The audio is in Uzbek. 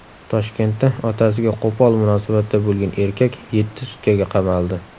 Toshkentda otasiga qo‘pol munosabatda bo‘lgan erkak yetti sutkaga qamaldi.